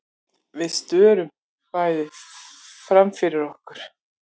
Við störum bæði framfyrir okkur.